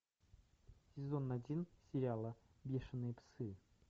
сезон один сериала бешеные псы